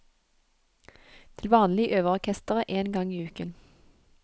Til vanlig øver orkesteret én gang i uken.